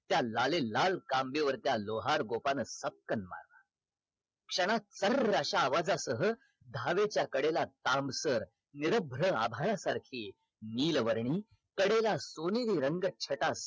त्या लालेलाल काम्बेवरच्या लोहर गोपन सपकन मारल क्षणात कर्र अश्या आवजासह घावेच्या कडेला ताम्ब्कर निरभ्य अभाळासारखी नीलवर्णी कडेला सोनेरी रंग छटा